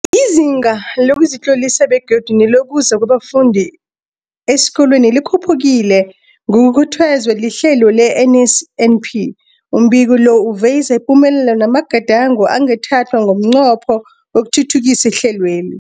Izinga lokuzitlolisa begodu nelokuza kwabafundi esikolweni likhuphukile ngokukhuthazwa lihlelo le-NSNP. Umbiko lo uveza ipumelelo namagadango angathathwa ngomnqopho wokuthuthukisa ihlelweli.